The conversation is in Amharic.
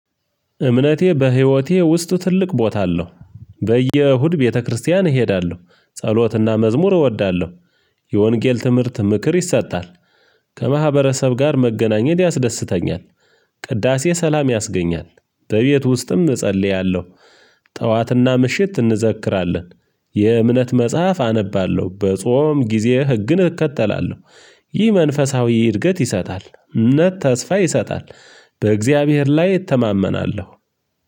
እምነቴ በህይወቴ ውስጥ ትልቅ ቦታ አለው። በየእሁድ ቤተክርስቲያን እሄዳለሁ። ጸሎትና መዝሙር እወዳለሁ። የወንጌል ትምህርት ምክር ይሰጣል። ከማህበረሰብ ጋር መገናኘት ያስደስተኛል። ቅዳሴ ሰላም ያስገኛል። በቤት ውስጥም እጸልያለሁ። ጠዋትና ምሽት እንዘክራለን። የእምነት መጽሐፍ አነባለሁ። በጾም ጊዜ ህግን እከተላለሁ። ይህ መንፈሳዊ እድገት ይሰጣል። እምነት ተስፋ ይሰጣል። በእግዚአብሔር ላይ እተማመናለሁ።